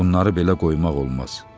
Bunları belə qoymaq olmaz.